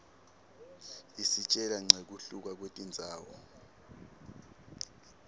isitjela nqekuhluka kwetindzawo